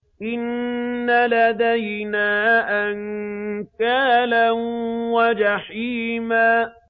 إِنَّ لَدَيْنَا أَنكَالًا وَجَحِيمًا